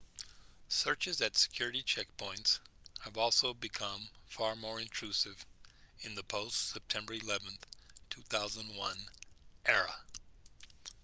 searches at security checkpoints have also become far more intrusive in the post-september 11 2001 era